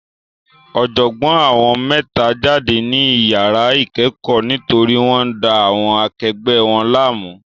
Ọ̀jọ̀gbọ́n àwọn mẹ́ta jáde ní iyàrá ìkẹ́kọ̀ọ́ nítorí wọ́n ń da àwọn akegbẹ̀ wọn láàmú.